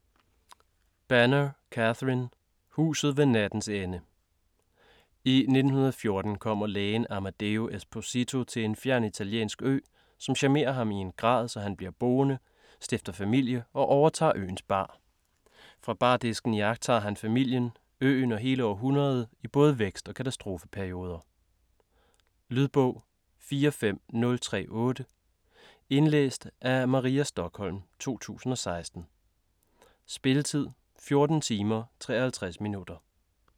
Banner, Catherine: Huset ved nattens ende I 1914 kommer lægen Amadeo Esposito til en fjern italiensk ø, som charmerer ham i en grad, så han bliver boende, stifter familie og overtager øens bar. Fra bardisken iagttager han familien, øen og hele århundredet i både vækst- og katastrofeperioder. Lydbog 45038 Indlæst af Maria Stokholm, 2016. Spilletid: 14 timer, 53 minutter.